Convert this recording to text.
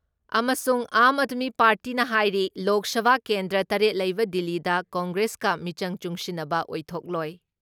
ꯑꯃꯁꯨꯡ ꯑꯥꯥꯝ ꯑꯥꯗꯃꯤ ꯄꯥꯔꯇꯤꯅ ꯍꯥꯏꯔꯤ ꯂꯣꯛ ꯁꯚꯥ ꯀꯦꯟꯗ꯭ꯔꯥ ꯇꯔꯦꯠ ꯂꯩꯕ ꯗꯤꯜꯂꯤꯗ ꯀꯪꯒ꯭ꯔꯦꯁꯀ ꯃꯤꯆꯪ ꯆꯨꯡꯁꯤꯟꯅꯕ ꯑꯣꯏꯊꯣꯛꯂꯣꯏ ꯫